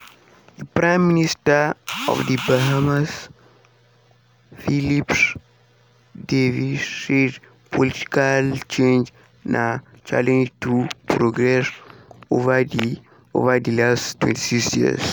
di prime minister of di bahamas philip davis say political change na challenge to progress ova di ova di last 26 years.